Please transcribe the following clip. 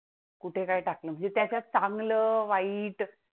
कुठे काय टाकलं, त्याच्यात चांगलं? वाईट?